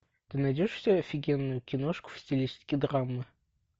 ты найдешь у себя офигенную киношку в стилистике драмы